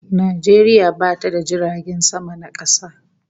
Najeriya bata da jiragen sama na kasa